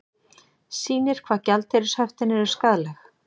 Sýnir hvað gjaldeyrishöftin eru skaðleg